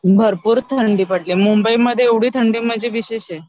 भरपूर थंडी पडली, मुंबईमध्ये एवढी थंडी म्हणजे विशेष आहे